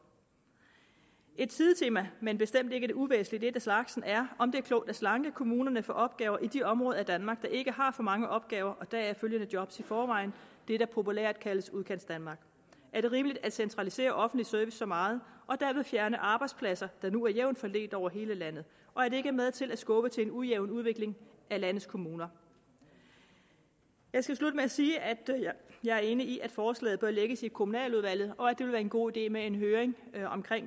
et sidetema men bestemt ikke et uvæsentligt et af slagsen er om det er klogt at slanke kommunerne for opgaver i de områder af danmark der ikke har for mange opgaver og deraf følgende job i forvejen det der populært kaldes udkantsdanmark er det rimeligt at centralisere offentlig service så meget og derved fjerne arbejdspladser der nu er jævnt fordelt over hele landet og er det ikke med til at skubbe til en ujævn udvikling af landets kommuner jeg skal slutte med at sige at jeg er enig i at forslaget bør lægges i kommunaludvalget og at det vil være en god idé med en høring om